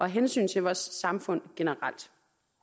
hensyn til vores samfund generelt